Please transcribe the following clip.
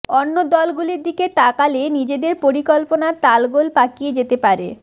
অন্য দলগুলির দিকে তাকালে নিজেদের পরিকল্পনা তালগোল পাকিয়ে যেতে পারে